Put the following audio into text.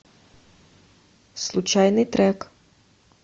случайный трек